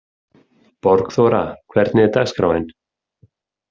Borgþóra, hvernig er dagskráin?